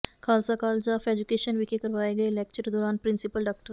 Khalsa college of education ਵਿਖੇ ਕਰਵਾਏ ਗਏ ਲੈਕਚਰ ਦੌਰਾਨ ਪ੍ਰਿੰਸੀਪਲ ਡਾ